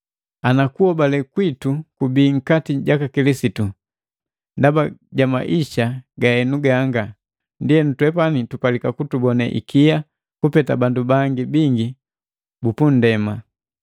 Ana kuhobale kwitu kubii nkati jaka Kilisitu ndaba ja maisa ganga ga henu, ndienu twepani tupalika kutubonee ikia kupeta bandu bangi bingi bupundema.